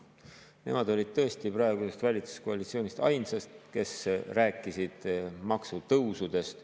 Nemad olid tõesti praegusest valitsuskoalitsioonist ainsad, kes rääkisid maksutõusudest.